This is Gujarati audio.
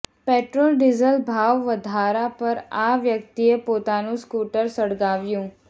પેટ્રોલ ડીઝલ ભાવ વધારા પર આ વ્યક્તિએ પોતાનું સ્કુટર સળગાવ્યું